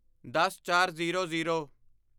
ਦਸਚਾਰਜ਼ੀਰੋ zero